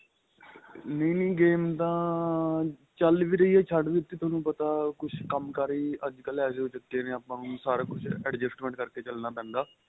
ਨਹੀਂ ਨਹੀਂ game ਤਾਂ ਚੱਲ ਵੀ ਰਹੀ ਏ ਛੱਡ ਵੀ ਦਿੱਤੀ ਤੁਹਾਨੂੰ ਪਤਾ ਕੁੱਛ ਕੰਮਕਾਰ ਹੀ ਅੱਜ ਕੱਲ ਅਹਿਜੇ ਹੋ ਚੁੱਕੇ ਹਨ ਆਪਾ ਨੂੰ ਸਾਰਾ ਕੁੱਛ adjustment ਕਰਕੇ ਚੱਲਣਾ ਪੈਂਦਾ